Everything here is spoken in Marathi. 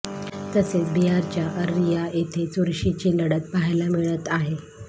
तसेच बिहारच्या अररिया येथे चुरशीची लढत पहायला मिळत आहे